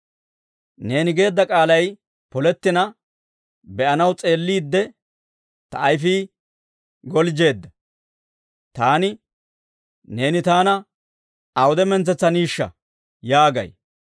Neeni geedda k'aalay polettina be'anaw s'eelliidde, ta ayifii galjjeedda. Taani, «Neeni taana awude mintsetsaniishsha?» yaagay.